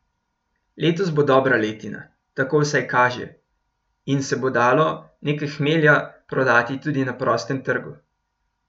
Letos bo dobra letina, tako vsaj kaže, in se bo dalo nekaj hmelja prodati tudi na prostem trgu.